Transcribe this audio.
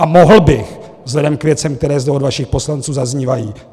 A mohl bych vzhledem k věcem, které zde od vašich poslanců zaznívají.